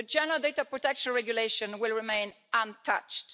The General Data Protection Regulation will remain untouched.